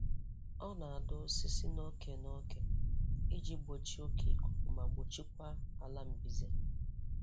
Ọ na-adọ osisi n'oke n'oke iji gbochie oke ikuku ma gbochie kwa ala mbize.